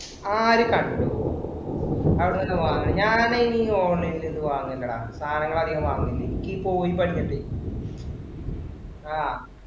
ആര് കണ്ടു. അവിടുന്നൊക്കെ വാങ്ങാൻ. ഞാൻ ഈ online ഇൽ ഇത് വാങ്ങില്ലടാ. സാധനങ്ങൾ അധികം വാങ്ങില്ല ആഹ്